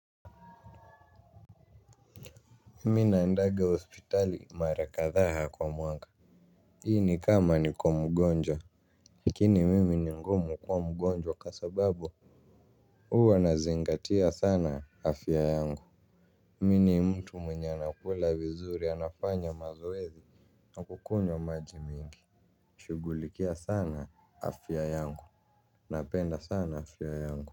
Mina naendanga hospitali mara kadhaa kwa mwaka. Hii ni kama niko mgonjwa. Lakini mimi ni ngumu kuwa mgonjwa kwa sababu huwa nazingatia sana afya yangu. Mimi ni mtu mwenye anakula vizuri, anafanya mazoezi, na kukunywa maji mingi. Shugulikia sana afya yangu. Napenda sana afya yangu.